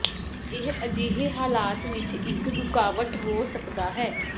ਇਹ ਅਜਿਹੇ ਹਾਲਾਤ ਵਿੱਚ ਇੱਕ ਰੁਕਾਵਟ ਹੋ ਸਕਦਾ ਹੈ